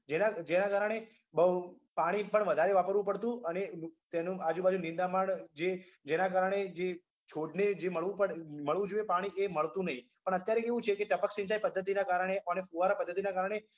જેના જેના કારણે બોઉં પાણી પણ વધારે વાપરવું પડતું અને તેનું આજુબાજુ નિંદામણ જે જેના કારણે જે છોડને જે મળવું પડે મળવું જોઈએ પાણી એ મળતું નઈ પણ અત્યારે કેવું છે કે ટપક સિંચાઈ પદ્ધતિના કારણે અને ફુવારા પદ્ધતિના કારણે